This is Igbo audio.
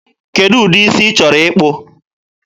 Kedụ ụdị isi ị chọrọ ịkpụ?